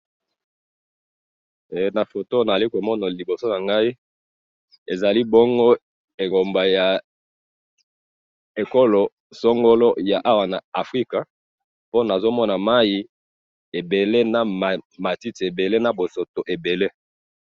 Na moni mai ebele na matiti ebele.